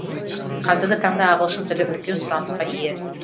қазіргі таңда ағылшын тілі үлкен сұрынысқа ие